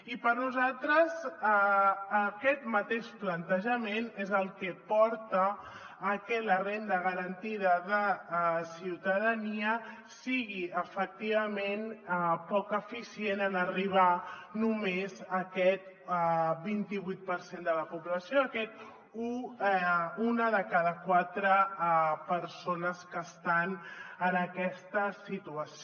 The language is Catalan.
i per nosaltres aquest mateix plantejament és el que porta a que la renda garantida de ciutadania sigui efectivament poc eficient en arribar només a aquest vint i vuit per cent de la població a aquestes una de cada quatre persones que estan en aquesta situació